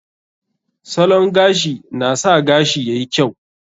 Salon gashi na sa gashi yayi kyau.